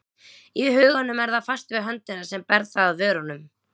Í huganum er það fast við höndina sem ber það að vörunum.